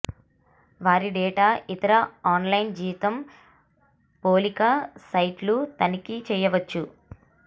వారి డేటా ఇతర ఆన్లైన్ జీతం పోలిక సైట్లు తనిఖీ చేయవచ్చు